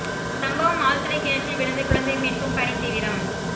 சம்பவம் ஆழ்துளை கிணற்றில் விழுந்த குழந்தை மீட்கும் பணி தீவிரம்